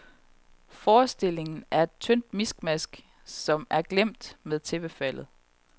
Forestillingen er et tyndt miskmask, som er glemt med tæppefaldet.